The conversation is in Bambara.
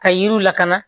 Ka yiriw lakana